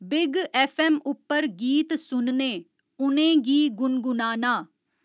Big F M उप्पर गीत सुनने उनेंगी गुणगुनाना।